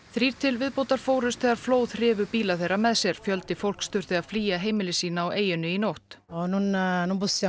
þrír til viðbótar fórust þegar flóð hrifu bíla þeirra með sér fjöldi fólks þurfti að flýja heimili sín á eyjunni í nótt